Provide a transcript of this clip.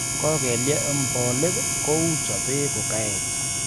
Kokelye om polik kou chope kukaech.